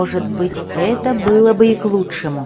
может быть это было бы и к лучшему